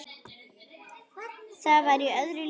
Var það í öðru lífi?